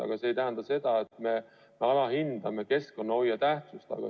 Aga see ei tähenda seda, et me alahindame keskkonnahoiu tähtsust.